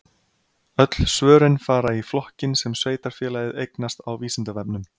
Öll svörin fara í flokkinn sem sveitarfélagið eignast á Vísindavefnum.